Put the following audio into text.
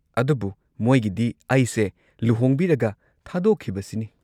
ꯑꯗꯨꯕꯨ ꯃꯣꯏꯒꯤꯗꯤ ꯑꯩꯁꯦ ꯂꯨꯍꯣꯡꯕꯤꯔꯒ ꯊꯥꯗꯣꯛꯈꯤꯕ ꯁꯤꯅꯤ꯫